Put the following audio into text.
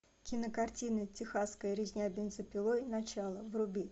кинокартина техасская резня бензопилой начало вруби